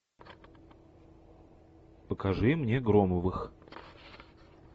покажи мне громовых